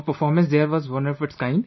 Our performance there was one of its kind